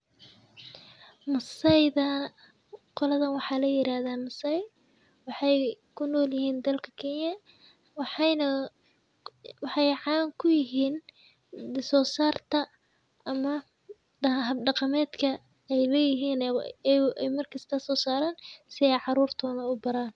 Maasaidha qoladhan waxaa la yiraahdaa Maasai. Waxay ku nool yihiin dalka Kenya. Waxayna -- waxay caan ku yihiin di soo saarta ama daha hab dhaqameedka ey leyihiin ee markasto soo saran si eey caruurtodha uu baraan.